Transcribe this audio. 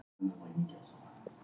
Júlía leit á Lenu.